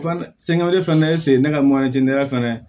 Fana fana ne sen tɛ ka fɛnɛ